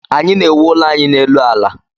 Anyị na-ewu ụlọ anyị n'elu ala